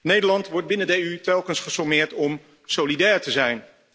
Nederland wordt binnen de EU telkens gesommeerd om solidair te zijn.